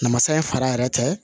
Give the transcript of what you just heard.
Namasa in fara yɛrɛ tɛ